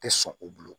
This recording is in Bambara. Tɛ sɔn u bolo